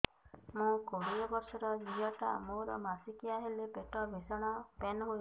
ମୁ କୋଡ଼ିଏ ବର୍ଷର ଝିଅ ଟା ମୋର ମାସିକିଆ ହେଲେ ପେଟ ଭୀଷଣ ପେନ ହୁଏ